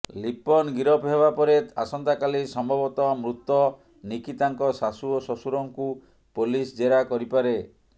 ଲିପନ ଗିରଫ ହେବାପରେ ଆସନ୍ତା କାଲି ସମ୍ଭବତଃ ମୃତ ନିକିତାଙ୍କ ଶାଶୁ ଓ ଶ୍ୱଶୂରଙ୍କୁ ପୋଲିସ ଜେରା କରିପାରେ